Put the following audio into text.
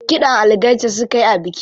Kiɗan algaita suka yi a biki.